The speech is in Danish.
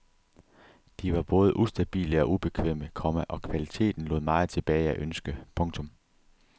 De var både ustabile og ubekvemme, komma og kvaliteten lod meget tilbage at ønske. punktum